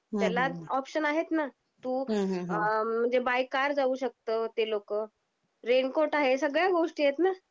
त्याला ऑप्शन आहेत ना तू अ म्हणजे बाय कार जाऊ शकतो ते लोकं. रेनकोट आहे, सगळ्या गोष्टी आहेत ना?